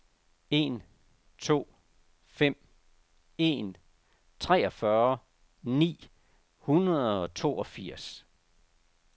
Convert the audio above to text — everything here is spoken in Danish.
en to fem en treogfyrre ni hundrede og toogfirs